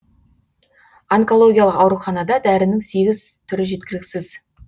онкологиялық ауруханада дәрінің сегіз түрі жеткіліксіз